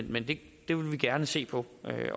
men det vil vi gerne se på